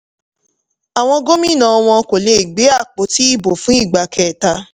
awọn gómìnà wọn kò lè gbe àpótí ibo fún ìgbà kẹta.